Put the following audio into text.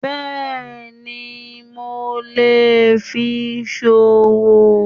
Bẹ́ẹ̀ni mo lè fi sowó